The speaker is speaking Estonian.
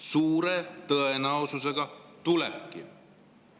Suure tõenäosusega tulebki.